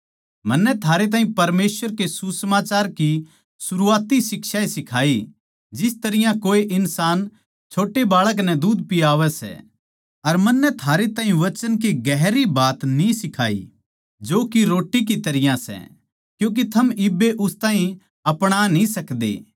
मन्नै थारै ताहीं परमेसवर के सुसमाचार की शरुआती शिक्षा ए सिखाई जिस तरियां कोए इन्सान छोट्टे बाळक नै दुध पियावै सै अर मन्नै थारे ताहीं वचन की गहरी बात न्ही सिखाई जो की रोट्टी की तरियां सै क्यूँके थम इब्बे उस ताहीं आपणा न्ही सकदे